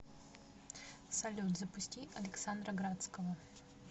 салют запусти александра градского